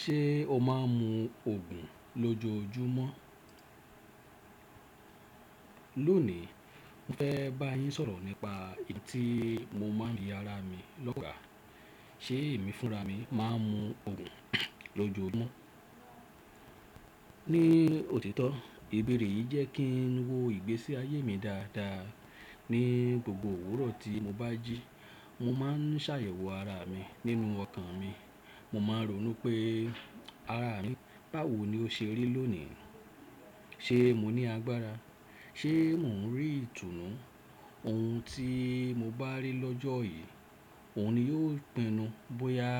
Ṣé o máa ń mu òògùn lójoojúmọ́? Lónìí, mo fẹ́ bá yín sọ̀rọ̀ nípa èyí tí mo máa ń bi ara mi lọ́gàá Ṣé èmi fúnra mi máa ń mu òògùn lójoojúmọ́? Ní òtítọ́, ìbéèrè yìí jẹ́ kí n wo ìgbésí ayé mi dáadáa. Ni gbogbo òwúrọ̀ tí mo bá jí, mo máa ń ṣàyẹ̀wò ara mi nínú ọkàn mi. Mo máa ń rònú pé ara mi báwo ni ó ṣe rí lónìí. Ṣé mo ní agbára? Ṣé mò ń rí ìtùnú? Ohun tí mo bá rí lọ́jọ́ yìí, òun ni yóò pinnu bóyá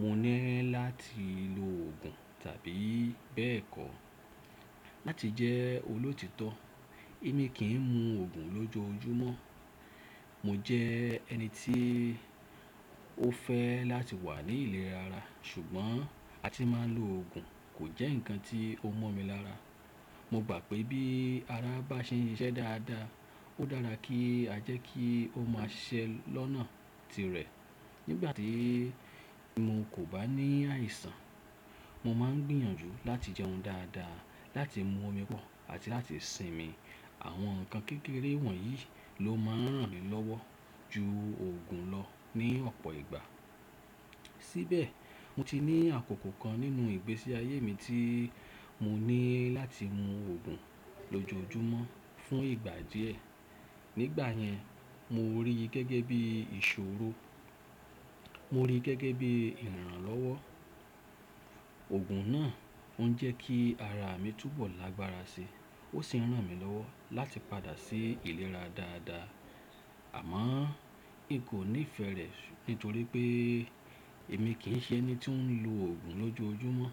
mo nílò láti lo òògùn tàbí bẹ́ẹ̀ kọ́. Láti jẹ́ olótìítọ́, èmi kì í mu òògùn lójoojúmọ́. Mo jẹ ẹni tí ó fẹ́ láti wà ní ìlera ara, ṣùgbọ́n àti máa lo òògùn kò jẹ́ nǹkan tí ó mọ́ mi lára. Mo gbà pé bí ara bá ṣe n ṣiṣẹ́ dáadáa, ó dára kí a jẹ́ kí ó máa ṣiṣẹ́ lọ́nà tirẹ̀. Nígbà tí mo kò bá ní àìsàn, mo máa ń gbìyànjú láti jẹun dáadáa, láti mu omi pọ̀ àti láti sinmi. Àwọn nǹkan kékeré wọ̀nyí ló máa ń ràn mí lọ́wọ́ ju òògùn lọ ní ọ̀pọ̀ ìgbà. Síbẹ̀, mo ti ní àkókò kan nínú ìgbésí ayé mi tí mo ní láti mu òògùn lójoojúmọ́ fún ìgbà díẹ̀. Nígbà yẹn, mo rí i gẹ́gẹ́ bí ìṣòro, mo rí i gẹ́gẹ́ bí ìrànlọ́wọ́. Òògùn náà ó ń jẹ́ kí ara mi túbọ̀ lágbára síi, ó sì ń ràn mí lọ́wọ́ láti padà sí ìlera dáadáa. Àmọ́, ì kò nífẹ̀ẹ́ rẹ̀ nítorí pé èmi kì í ṣe ẹni tí ó ń lo òògùn lójoojúmọ́.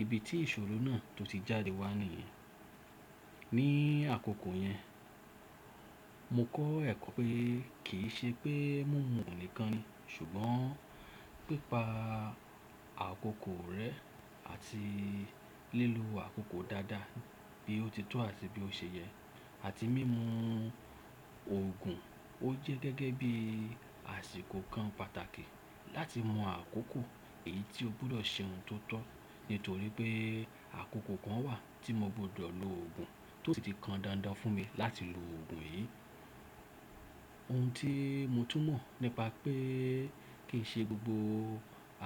Ibi tí ìṣòro náà tó ti jáde wá nìyẹn. Ní àkókò yẹn, mo kọ́ ẹ̀kọ́ pé kì í ṣe pé mímu òògùn nìkan ni, ṣùgbọ́n pípa àkókò rẹ àti lílò àkókò dáadáa bí ó ti tó àti bí ó ṣe yẹ àti mímu òògùn, ó jẹ́ gẹ́gẹ́ bí àsìkò kan pàtàkì láti mọ àkókò èyí tí o gbọ́dọ̀ ṣe ohun tó tọ́. Nítorí pé àkókò kan wà tí mo gbọ́dọ̀ lo òògùn tó sì ti kan dandan fún mi láti lo òògùn yìí. Ohun tí mo tún mọ̀ nípa pé kì í ṣe gbogbo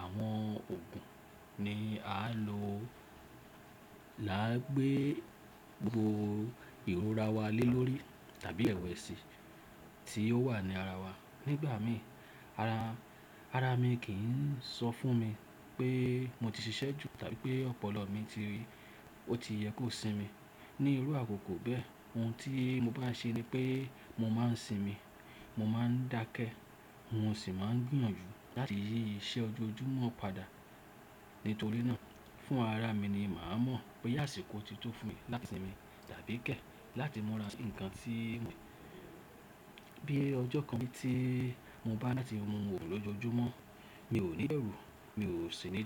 àwọn òògùn ni a á lo làá gbé gbogbo ìrora wa lé lórí tàbí ìrẹ̀wẹ̀sì tí ó wà ní ara wa. Nígbà míì, ara, ara mi kì í sọ fún mi pé mo ti ṣiṣẹ́ jù tàbí pé ọpọlọ mi ti, ó ti yẹ kó sinmi. Ni irú àkókò bẹ́ẹ̀, ohun tí mo bá ṣe ni pé mo máa ń sinmi, mo máa ń dákẹ́, mo sì máa ń gbìyànjú láti yí iṣẹ́ ojoojúmọ́ padà. Nítorí náà, fún ara mi ni màá mọ̀ pé àsìkò ti tó fún mi láti sinmi tàbí kẹ́ láti múra. Nǹkan tí mo-- bí ọjọ́ kan tí mo bá ní láti mu òògùn lójoojúmọ́, mi ò ní bẹ̀rù, mi ò sì ní.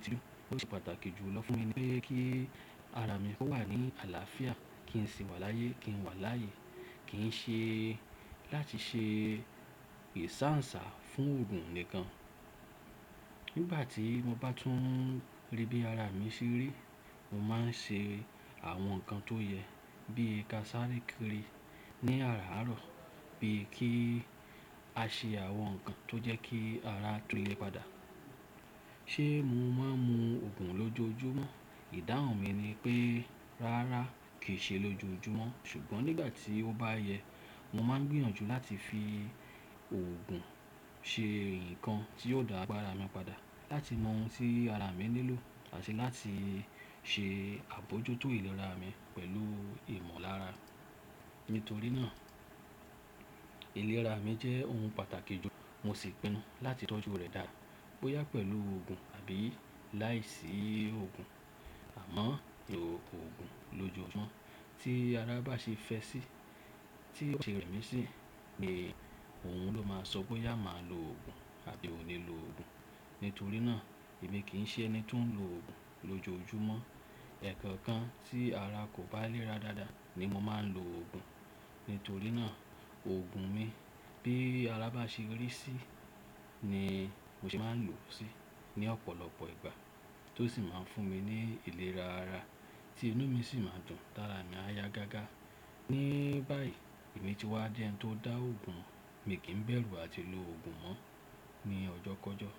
Ó ṣe pàtàkì jù lọ fún mi pé kí ara mi kó wà ní àlàáfíà, kí n sì wà láyé, kí n wà láàyè, kì ń ṣe láti ṣe ìsáǹsá fún òògùn nìkan. Nígbà tí mo bá tún rí bí ara mi ṣe rí, mo máa ń ṣe àwọn nǹkan tó yẹ bí i ká sáré kiri ní àràárọ̀, bí i kí a ṣe àwọn nǹkan tó jẹ́ kí ara tolé padà. Ṣé mo máa ń mu òògùn lójoojúmọ́? Ìdáhùn mi ni pé rárá, kì í ṣe lójoojúmọ́. Ṣùgbọ́n nígbà tí ó bá yẹ, mo máa ń gbìyànjú láti fi òògùn ṣe nǹkan tí yóò dá agbára mi padà, láti mọ ohun tí ara mi nílò àti láti ṣe àbójútó ìlera mi pẹ̀lú ìmọ̀lára. Nítorí náà, ìlera mi jẹ́ ohun pàtàkì jù, mo sì pinnu láti tọ́jú rẹ̀ dáa, bóyá pẹ̀lú òògùn àbí láìsí òògùn. Àmọ́, òògùn lójoojúmọ́ tí ara bá ṣe fẹ sí, tí ó ṣe rẹ̀ mí sí ni òun ló máa sọ bóyá máa lo òògùn àbí n ò ní lo òògùn. Nítorí náà, èmi kì í ṣe ẹni tó ń lo òògùn lójoojúmọ́. Ẹ̀ẹ̀kọ̀ọ̀kan tí ara kò bá léra dáadáa ni mo máa ń lo òògùn. Nítorí náà, òògùn mi bí ara bá ṣe rí sí ni mo ṣe máa ń lò ó sí ní ọ̀pọ̀lọpọ̀ ìgbà tó sì máa ń fún mi ní ìlera ara tí inú mi sì máa dùn, tára mi á yá gágá. Ní báyìí, èmi ti wá di ẹni tó dá òògùn, miì kí ń bẹ̀rù àti lo òògùn mọ́ ní ọjọ́kọ́jọ́.